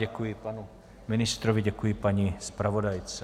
Děkuji panu ministrovi, děkuji paní zpravodajce.